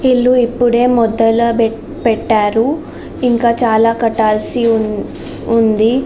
ఇల్లు ఇప్పుడే మొత్తంగా పెట్టారు చాలా కట్టాల్సి ఉంది.